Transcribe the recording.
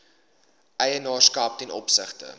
eienaarskap ten opsigte